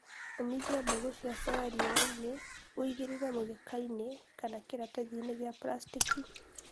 ũmithia mbegũ cia soya riũainĩ uigĩrĩire mũgekainĩ kana kiratathĩni gĩa plasteki